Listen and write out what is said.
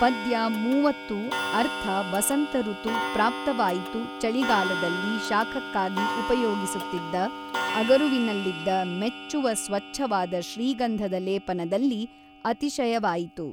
ಪದ್ಯ ಮೂವತ್ತು ಅರ್ಥ ವಸಂತಋತು ಪ್ರಾಪ್ತವಾಯಿತು ಚಳಿಗಾಲದಲ್ಲಿ ಶಾಖಕ್ಕಾಗಿ ಉಪಯೋಗಿಸುತ್ತಿದ್ದ ಅಗರುವಿನಲ್ಲಿದ್ದ ಮೆಚ್ಚುವ ಸ್ವಚ್ಛವಾದ ಶ್ರೀಗಂಧದ ಲೇಪನದಲ್ಲಿ ಅತಿಶಯವಾಯಿತು.